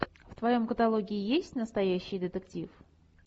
в твоем каталоге есть настоящий детектив